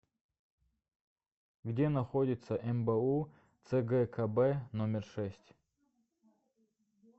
где находится мбу цгкб номер шесть